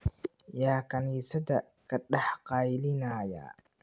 Yaa kaniisadda ka dhex qaylinaya?